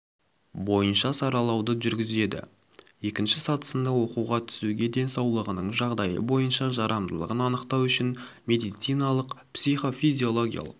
бойынша саралауды жүргізеді екінші сатысында оқуға түсуге денсаулығының жағдайы бойынша жарамдылығын анықтау үшін медициналық психофизиологиялық